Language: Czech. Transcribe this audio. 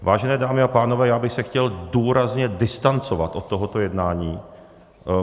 Vážené dámy a pánové, já bych se chtěl důrazně distancovat od tohoto jednání.